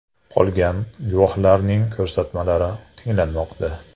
Qolgan guvohlarning ko‘rsatmalari tinglanmoqda.